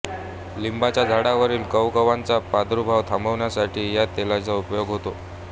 लिंबाच्या झाडावरील कवकांचा प्रादुर्भाव थांबविण्यासाठी या तेलाचा उपयोग होतो